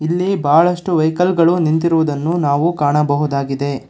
ಇಲ್ಲಿ ಬಹಳಷ್ಟು ವೆಹಿಕಲ್ ಗಳು ನಿಂತಿರುವುದನ್ನು ನಾವು ಕಾಣಬಹುದಾಗಿದೆ.